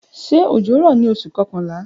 Ṣe ojo ni Oṣu kọkanla?